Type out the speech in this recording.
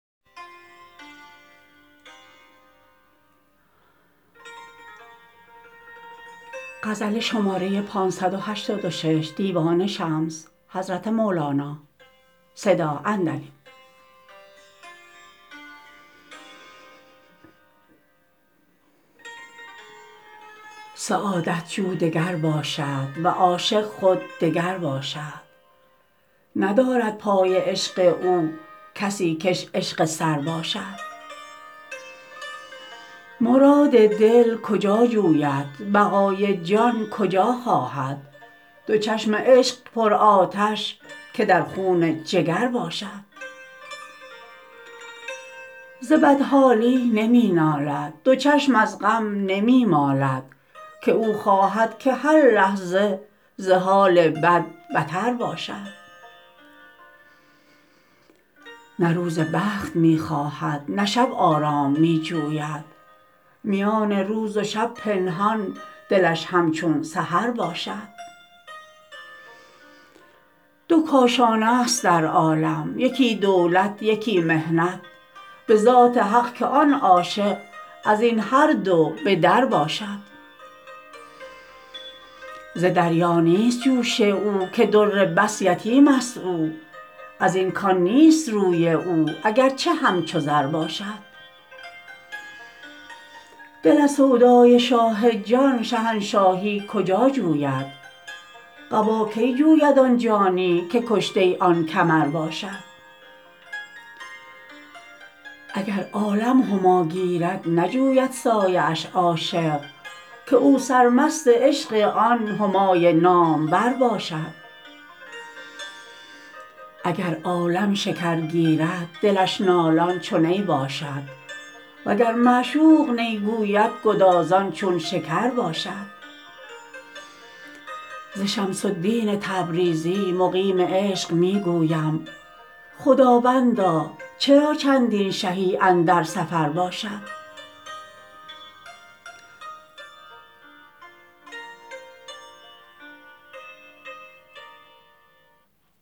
سعادت جو دگر باشد و عاشق خود دگر باشد ندارد پای عشق او کسی کش عشق سر باشد مراد دل کجا جوید بقای جان کجا خواهد دو چشم عشق پرآتش که در خون جگر باشد ز بدحالی نمی نالد دو چشم از غم نمی مالد که او خواهد که هر لحظه ز حال بد بتر باشد نه روز بخت می خواهد نه شب آرام می جوید میان روز و شب پنهان دلش همچون سحر باشد دو کاشانه ست در عالم یکی دولت یکی محنت به ذات حق که آن عاشق از این هر دو به درباشد ز دریا نیست جوش او که در بس یتیمست او از این کان نیست روی او اگر چه همچو زر باشد دل از سودای شاه جان شهنشاهی کجا جوید قبا کی جوید آن جانی که کشته آن کمر باشد اگر عالم هما گیرد نجوید سایه اش عاشق که او سرمست عشق آن همای نام ور باشد اگر عالم شکر گیرد دلش نالان چو نی باشد وگر معشوق نی گوید گدازان چون شکر باشد ز شمس الدین تبریزی مقیم عشق می گویم خداوندا چرا چندین شهی اندر سفر باشد